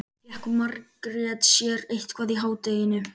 Fékk Margrét sér eitthvað í hádeginu?